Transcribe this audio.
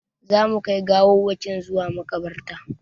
Za mu kai gawawwakin zuwa maƙabarta